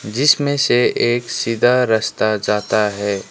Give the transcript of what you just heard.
जिसमें से एक सीधा रस्ता जाता है।